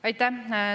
Aitäh!